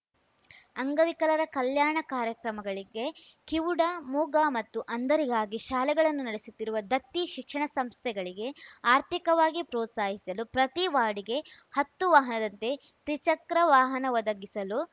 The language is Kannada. ಅಂಗವಿಕಲರ ಕಲ್ಯಾಣ ಕಾರ್ಯಕ್ರಮಗಳಿಗೆ ಕಿವುಡ ಮೂಗ ಮತ್ತು ಅಂಧರಿಗಾಗಿ ಶಾಲೆಗಳನ್ನು ನಡೆಸುತ್ತಿರುವ ದತ್ತಿ ಶಿಕ್ಷಣ ಸಂಸ್ಥೆಗಳಿಗೆ ಆರ್ಥಿಕವಾಗಿ ಪ್ರೋತ್ಸಾಹಿಸಲು ಪ್ರತಿ ವಾರ್ಡ್‌ಗೆ ಹತ್ತು ವಾಹನದಂತೆ ತ್ರಿಚಕ್ರ ವಾಹನ ಒದಗಿಸಲು